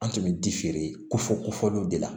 An tun bɛ ko fɔ kofɔliw de la